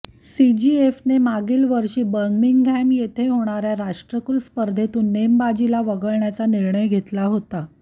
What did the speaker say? सीजीएफने मागील वर्षी बर्मिंगहॅम येथे होणार्या राष्ट्रकुल स्पर्धेतून नेमबाजीला वगळण्याचा निर्णय घेतला होता